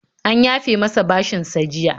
An yafe masa bashinsa jiya.